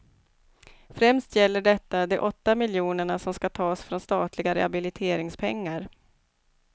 Främst gäller detta de åtta miljonerna som skall tas från statliga rehabiliteringspengar.